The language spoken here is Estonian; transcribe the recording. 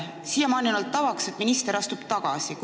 Siiamaani on olnud tavaks, et minister astub tagasi.